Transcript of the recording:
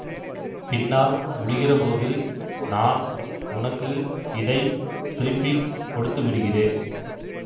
பின்னால் முடிகிற போது நான் உனக்கு இதை திருப்பி கொடுத்து விடுகிறேன்